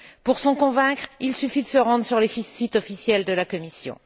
Pour s'en convaincre, il suffit de se rendre sur les sites officiels de la Commission.